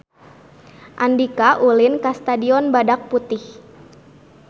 Andika ulin ka Stadion Badak Putih